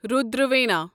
Rudra Veena